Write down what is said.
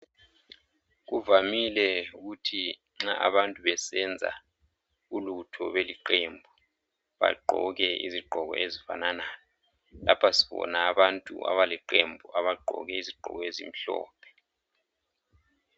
Kuvamile ukuthi nxa abantu besenza ulutho beliqemba bagqoke izigqoko ezifananayo lapha sibona abantu abaleqembu abagqoke izigqoko ezimhlophe